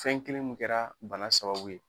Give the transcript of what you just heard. Fɛn kelen min kɛra bana sababu ye.